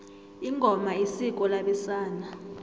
ingoma isiko labesana